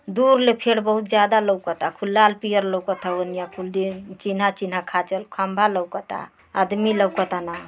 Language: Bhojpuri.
दूर ले पेड़ बहुत ज्यादा लोउकता खूब लाल पीयर लोउकता ओनिया कुल चीन्हा चीन्हा खाँचल खंबा लोउकता आदमी लोकतान।